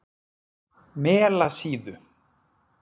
Melasíðu